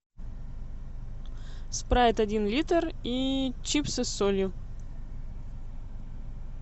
спрайт один литр и чипсы с солью